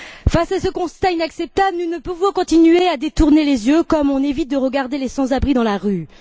Face à ce constat inacceptable, nous ne pouvons continuer à détourner les yeux, comme on évite de regarder les sans abri dans la rue.